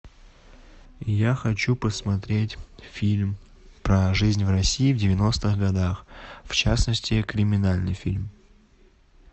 я хочу посмотреть фильм про жизнь в россии в девяностых годах в частности криминальный фильм